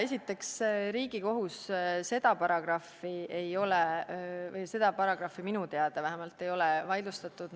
Esiteks, Riigikohus ei ole seda paragrahvi vähemalt minu teada vaidlustanud.